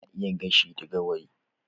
Ana iya gashi da gawayi